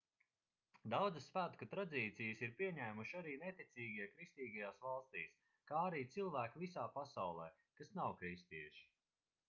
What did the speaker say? daudzas svētku tradīcijas ir pieņēmuši arī neticīgie kristīgajās valstīs kā arī cilvēki visā pasaulē kas nav kristieši